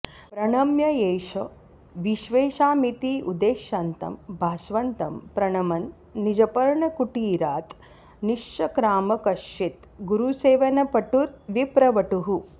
प्रणम्य एष विश्वेषामिति उदेष्यन्तं भास्वन्तं प्रणमन् निजपर्णकुटीरात् निश्चक्राम कश्चित् गुरुसेवनपटुर्विप्रवटुः